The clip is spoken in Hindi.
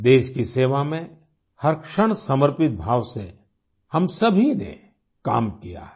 देश की सेवा में हर क्षण समर्पित भाव से हम सभी ने काम किया है